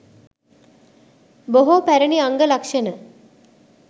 බොහෝ පැරැණි අංග ලක්‍ෂණ